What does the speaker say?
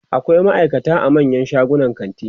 akwai maaikata a manyan shagunan kanti